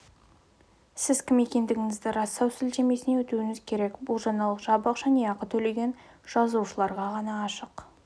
сіз кім екендігіңізді растау сілтемесіне өтуіңіз керек бұл жаңалық жабық және ақы төлеген жазылушыларға ғана ашық